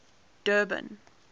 durban